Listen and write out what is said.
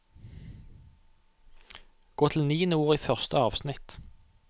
Gå til niende ord i første avsnitt